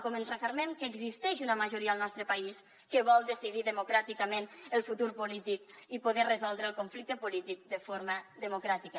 com ens refermem que existeix una majoria al nostre país que vol decidir democràticament el futur polític i poder resoldre el conflicte polític de forma democràtica